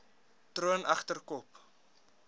troon egter kop